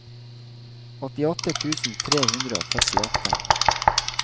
åttiåtte tusen tre hundre og førtiåtte